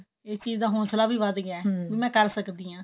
ਇਸ ਚੀਜ ਦਾ ਹੋਂਸਲਾ ਵੀ ਵੱਧ ਗਿਆ ਵੀ ਮੈਂ ਕਰ ਸਕਦੀ ਹਾਂ